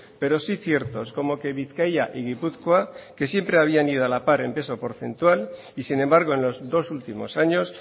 pero sí ciertos como que bizkaia y gipuzkoa que siempre habían ido a la par en peso porcentual y sin embargo en los dos últimos años